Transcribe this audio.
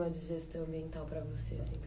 de gestão ambiental para você?